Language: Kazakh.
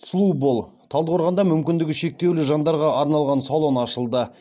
сұлу бол талдықорғанда мүмкіндігі шектеулі жандарға арналған салон ашылды